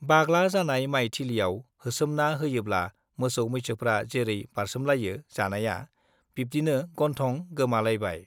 बाग्ला जानाय माइ थिलियाव होसोमना होयोब्ला मोसौ-मैसोफ्रा जैरै बारसोमलायो जानाया, बिब्दिनो गन्थं गोमालायबाय।